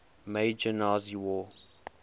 major nazi war